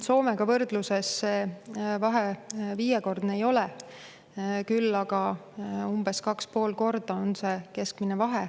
Soomega võrdluses see vahe viiekordne ei ole, küll aga umbes 2,5 korda on see keskmine vahe.